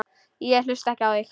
Ég hlusta ekki á þig.